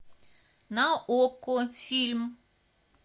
на окко фильм